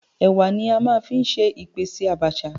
Ẹ̀wà ni a máa ń fi ṣe ìpèsè Àbàṣà.